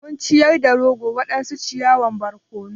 Mun ciyar da ragon waɗansu ciyawan barkono.